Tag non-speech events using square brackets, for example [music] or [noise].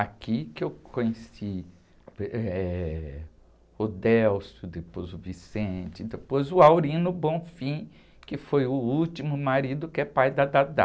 Aqui que eu conheci uh, [unintelligible] eh, o, [unintelligible] depois o, [unintelligible] depois o, [unintelligible] que foi o último marido que é pai da. [unintelligible]